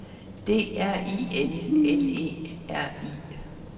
D R I L L E R I